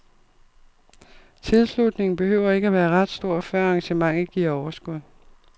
Tilslutningen behøver ikke at være ret stor, før arrangementet giver overskud.